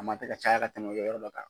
A man kan tɛ ka caya ka tɛmɛ u yɔrɔ dɔ kan.